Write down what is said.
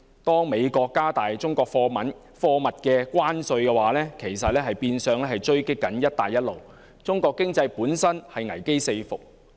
當美國加重中國貨物的關稅，其實是變相狙擊"一帶一路"，中國的經濟本身已危機四伏。